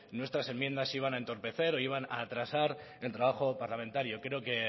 nuestras enmiendas iban a entorpecer o iban a atrasar el trabajo parlamentario creo que